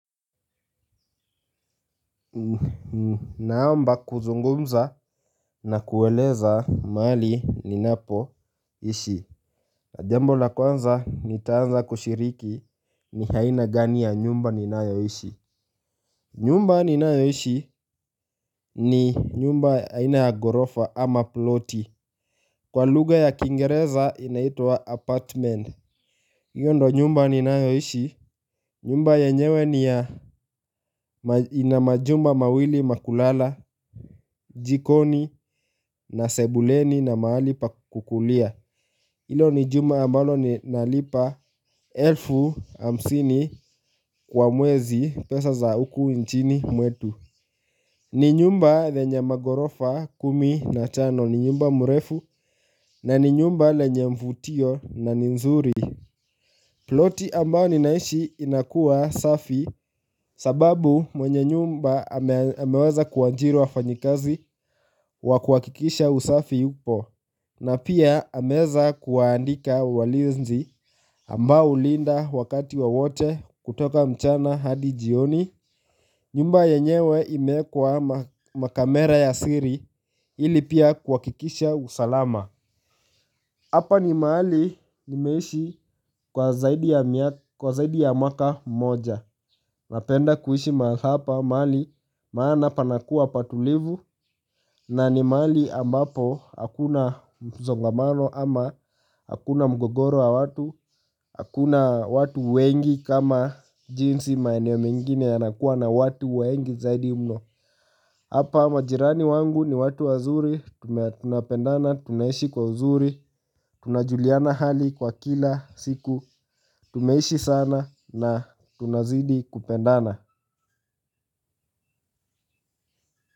Naomba kuzungumza na kueleza mahali ninapoishi jambo la kwanza nitaanza kushiriki ni aina gani ya nyumba ninayoishi. Nyumba ninayoishi ni nyumba aina ya ghorofa ama ploti. Kwa lugha ya kiingereza inaitwa apartment hiyo ndo nyumba ninayoishi. Nyumba yenyewe ni ya ina majumba mawili ma kulala, jikoni na sebuleni na mahali pa kukulia. Ilo ni jumba ambalo ninalipa elfu hamsini kwa mwezi pesa za uku nchini mwetu. Ni nyumba lenye maghorofa kumi na tano ni nyumba mrefu na ni nyumba lenye mvutio na nzuri. Ploti ambao ninaishi inakua safi sababu mwenye nyumba ameweza kuajiri wafanyikazi wa kuhakikisha usafi upo. Na pia ameeza kuwaandika walinzi ambao hulinda wakati wowote kutoka mchana hadi jioni. Nyumba yenyewe imeekwa makamera ya siri ili pia kuhakikisha usalama. Hapa ni mahali nimeshi kwa zaidi ya mwaka moja. Napenda kuishi mahali hapa mahali maana panakuwa patulivu na ni mahali ambapo hakuna msongamano ama hakuna mgogoro wa watu. Hakuna watu wengi kama jinsi maeneo mengine yanakuwa na watu wengi zaidi mno. Hapa majirani wangu ni watu wazuri, tunapendana, tunaishi kwa uzuri, tunajuliana hali kwa kila siku, tumeishi sana na tunazidi kupendana.